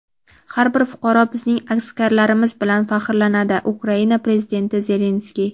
har bir fuqaro bizning askarlarimiz bilan faxrlanadi - Ukraina Prezidenti Zelenskiy.